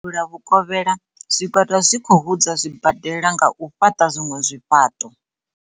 Ngei Devhula Vhukovhela, zwigwada zwi khou hudza zwibade-la nga u fhaṱa zwiṅwe zwifhaṱo.